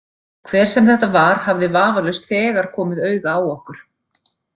Hver sem þetta var hafði vafalaust þegar komið auga á okkur.